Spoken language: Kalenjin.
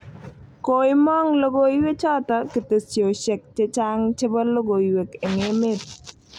Koimang' logoiwek choto ketesyosek chechaang' chebo logoiywek eng' emeet